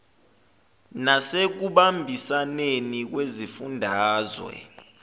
nase kubambisaneni kwezifundazwe